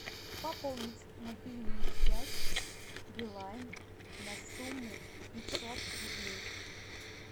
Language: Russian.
пополнить мобильную связь билайн на сумму пятьсот рублей